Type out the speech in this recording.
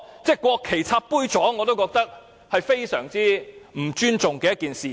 把國旗插在杯座上，我覺得是非常不尊重的做法。